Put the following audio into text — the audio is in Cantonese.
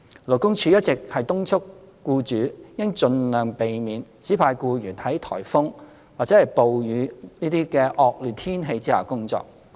勞工處一直敦促僱主應盡量避免指派僱員在颱風及暴雨等惡劣天氣下工作。